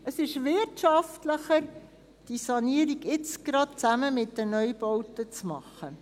Es ist wirtschaftlicher, diese Sanierung jetzt gleich zusammen mit den Neubauten zu machen.